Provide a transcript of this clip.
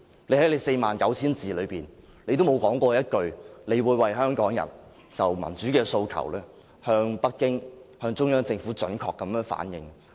她在其49000字之中，沒有說過一句她會為香港人就民主的訴求，向北京及中央政府準確反映。